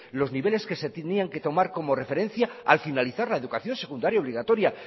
los niveles que se tenían que tomar como referencia al finalizar la educación secundaria obligatoria